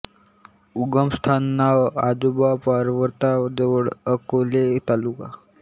उगम स्थान नाव आजोबा पर्वता जवळ अकोले तालुका